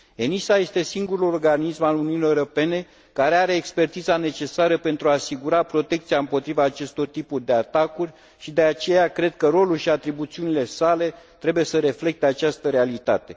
ENISA este singurul organism al Uniunii Europene care are expertiza necesară pentru a asigura protecția împotriva acestor tipuri de atacuri și, de aceea, cred că rolul și atribuțiile sale trebuie să reflecte această realitate.